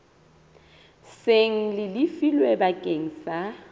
seng le lefilwe bakeng sa